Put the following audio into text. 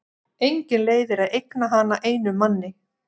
Engin leið er að eigna hana einum manni.